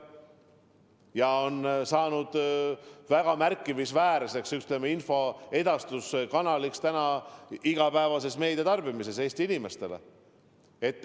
See on saanud väga märkimisväärseks infoedastuskanaliks Eesti inimeste igapäevases meediatarbimises.